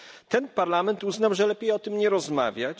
Ten parlament uznał, że lepiej o tym nie rozmawiać.